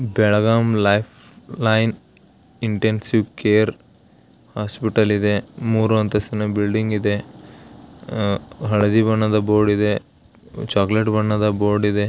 Belgaum Life Line Intensive Care Hospital ಇದೆ ಮೂರೂ ಅಂತಸ್ತಿನ ಬಿಲ್ಡಿಂಗ್ ಇದೆ ಹಳದಿ ಬಣ್ಣದ ಬೋರ್ಡ್ ಇದೆ ಚಾಕಲೇಟ್ ಬಣ್ಣದ ಬೋರ್ಡ್ ಇದೆ.